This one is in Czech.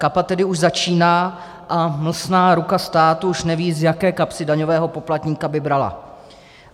Kapat tedy už začíná a mlsná ruka státu už neví, z jaké kapsy daňového poplatníka by brala.